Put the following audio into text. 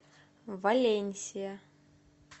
валенсия